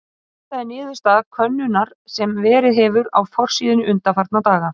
Þetta er niðurstaða könnunar sem verið hefur á forsíðunni undanfarna daga.